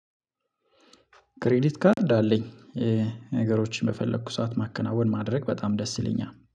ክሬዲት ካርድ አለኝ። ነገሮችን በፈለኩ ሰዓት ማከናወን ማድረግ በጣም ደስ ይለኛል